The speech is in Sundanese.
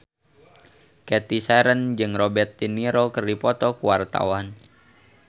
Cathy Sharon jeung Robert de Niro keur dipoto ku wartawan